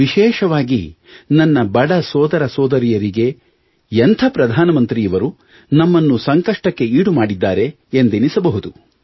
ವಿಶೇಷವಾಗಿ ನನ್ನ ಬಡ ಸೋದರ ಸೋದರಿಯರಿಗೆ ಎಂಥ ಪ್ರಧಾನ ಮಂತ್ರಿ ಇವರು ನಮ್ಮನ್ನು ಸಂಕಷ್ಟಕ್ಕೆ ಈಡು ಮಾಡಿದ್ದಾರೆ ಎಂದೆನಿಸಬಹುದು